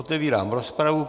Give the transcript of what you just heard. Otevírám rozpravu.